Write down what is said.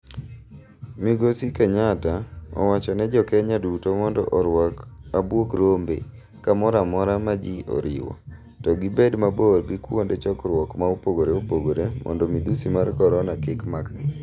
Migosi Kenyatta owachone jokenya duto mondo orwak abwog rombe kamoramora maji oriwo, to gibed mabor gi kuonde chokruok ma opogore opogore mondo midhusi mar korona kik makgi.